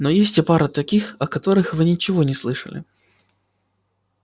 но есть и пара таких о которых вы ничего не слышали